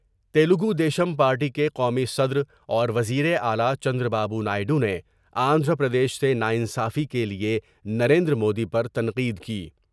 Telugu Desam party کے قومی صدر اور وزیراعلی چندر با بونائیڈو نے آندھرا پردیش سے نا انصافی کے لئے نریندرمودی پر تنقید کی ۔